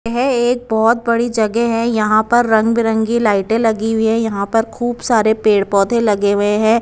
यह एक बहुत बड़ी जगह है यहां पर रंग बिरंगी लाइटें लगी हुई है यहां पर खूब सारे पेड़ पौधे लगे हुए हैं।